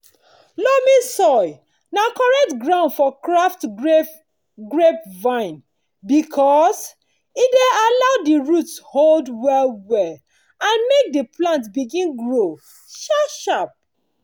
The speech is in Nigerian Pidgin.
loamy soil na correct ground for graft grapevine because e dey allow di root hold well-well and make di plant begin grow sharp-sharp.